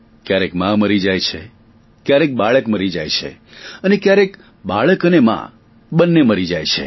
ક્યારેક મા મરી જાય છે ક્યારેક બાળક મરી જાય છે અને ક્યારેક બાળક અને મા બંને મરી જાય છે